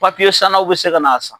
san n'aw bi se ka na san